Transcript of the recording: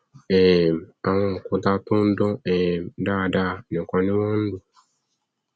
um àwọn òkúta tó dán um dáradára nìkan ni wọn nlò